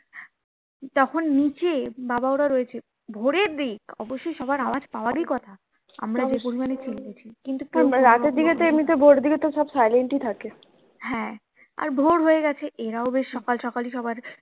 তখন নিচে বাবা ওরা রয়েছে ভোরের দিক অবশ্যই সবার আওয়াজ পাওয়ারই কথা আমরা যে পরিমানে চিল্লেছি হ্যা আর ভোর হয়ে গেছে এরাও বেশ সকাল সকালই সবার